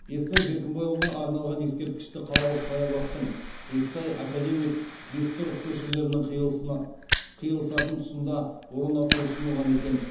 естай беркімбайұлына арналған ескерткішті қалалық саябақтың естай академик бектұров көшелерінің қиылысатын тұсында орнату ұсынылған екен